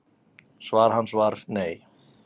Svar hans var nei.